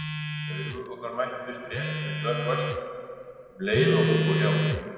Augu okkar mættust rétt sem snöggvast um leið og hún fór hjá.